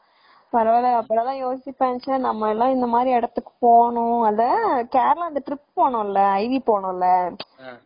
பரவாயில்ல அப்பதான்டா யோசிப்பேன் நம்ம எல்லாம் இந்தமாதிரி இடத்துக்கு போகனும் அந்த trip போனோம்ல, iv போனோம்ல